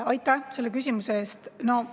Aitäh selle küsimuse eest!